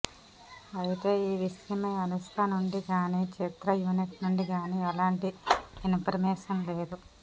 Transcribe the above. అయితే ఈ విషయమై అనుష్క నుండి గాని చిత్ర యూనిట్ నుండి గాని ఎలాంటి ఇన్ఫర్మేషన్ లేదు